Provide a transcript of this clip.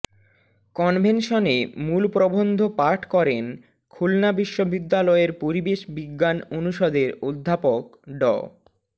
কনভেনশনে মূল প্রবন্ধ পাঠ করেন খুলনা বিশ্ববিদ্যালয়ের পরিবেশ বিজ্ঞান অনুষদের অধ্যাপক ড